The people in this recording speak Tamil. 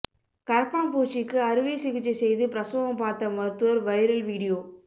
கரப்பான்பூச்சிக்கு அறுவை சிகிச்சை செய்து பிரசவம் பார்த்த மருத்துவர் வைரல் வீடியோ